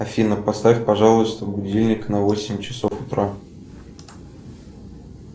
афина поставь пожалуйста будильник на восемь часов утра